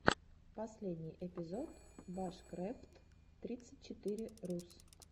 последний эпизод башкрэфт тридцать четыре рус